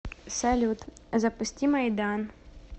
салют запусти майдан